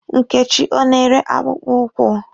Nkechi ọ na-ere akpụkpụ ụkwụ?